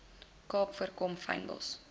kaap voorkom fynbos